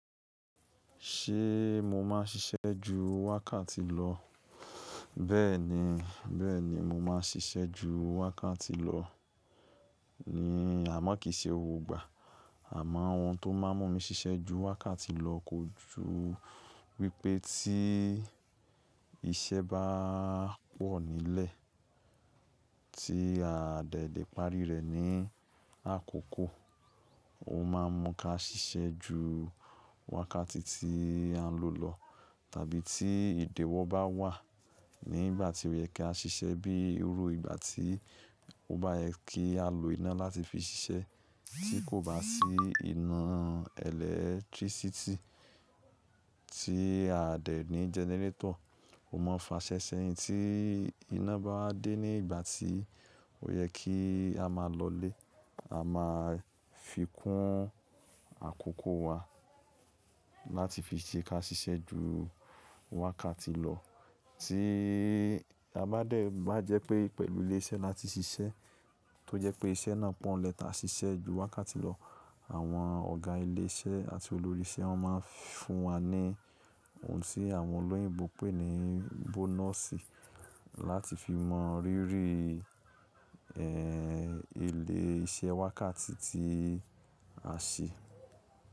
Ṣé mo máa ń ṣiṣẹ́ ju wákàtí lọ? Bẹ́ẹ̀ni, bẹ́ẹ̀ni mo máa ń ṣiṣẹ́ ju wákàtí lọ. Àmọ́ kìí ṣe gbogbo ìgbà. Àmọ́ òun tó máa ń mú mi ṣiṣẹ́ ju wákàtí lọ kò ju wípé tí iṣẹ́ bá pọ̀ nílẹ̀ tí a dẹ lè parí rẹ̀ ní àkókò, ó máa ń mú ká ṣiṣẹ́ ju wákàtí tí à ń lò lọ. Tàbí tí ìdiwọ́ bá wà nígbà tí ó yẹ ká ṣiṣẹ́ bíi òru, ìgbà tí ó bá yẹ kí á lo iná láti fi ṣiṣẹ́ tí kò bá sí iná ẹ̀lẹ́tírísítì tí a dẹ̀ ní jẹnẹrétọ̀, ó máa ń fa ṣẹ́ṣẹ́ yín tí iná bá dé ní ìgbà tí ó yẹ kí a máa lọlé. A máa fi kún àkókò wa láti fi ṣe ká ṣiṣẹ́ ju wákàtí lọ. Tí a bá dẹ̀ bá jẹ́ pé pẹ̀lú ilé iṣẹ́ láti ṣiṣẹ́ tó jẹ́ pé iṣẹ́ náà pọ̀ n lẹ́ tàá ṣiṣẹ́ ju wákàtí lọ, àwọn ọ̀gá ilé iṣẹ́ àti olórí iṣẹ́ máa ń fún wa ní ohun tí àwọn olóyìnbo pè ní bọ́nọ̀sì láti fi mọ rírí, ẹ́, ilé iṣẹ́ wákàtí tí a ṣe.